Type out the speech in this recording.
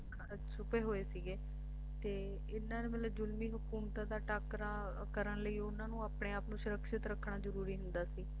ਛੁਪੇ ਹੋਏ ਸੀਗੇ ਤੇ ਇਨ੍ਹਾਂ ਨੂੰ ਮਤਲਬ ਜ਼ੁਲਮੀ ਹਕੂਮਤਾਂ ਦਾ ਟਾਕਰਾ ਕਰਨ ਲਈ ਉਨ੍ਹਾਂ ਨੂੰ ਆਪਣੇ ਆਪ ਨੂੰ ਸੁਰਖਿਅਤ ਰੱਖਣਾ ਜਰੂਰੀ ਹੁੰਦਾ ਸੀ